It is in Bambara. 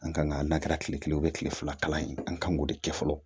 An kan ka na kɛra kile kelen o ye kile fila kalan ye an kan k'o de kɛ fɔlɔ